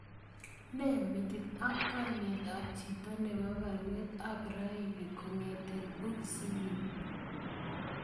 Ne metit ak kainet ab chito nebo baruet ab raini kongeten boxisinyun